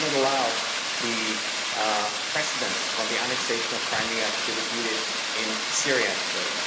We cannot allow the precedents from the annexation of Crimea to be repeated in Syria today.